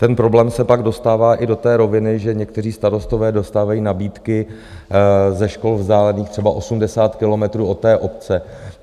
Ten problém se pak dostává i do té roviny, že někteří starostové dostávají nabídky ze škol vzdálených třeba 80 kilometrů od té obce.